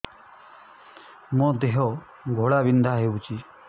ମୋ ଦେହ ଘୋଳାବିନ୍ଧା ହେଉଛି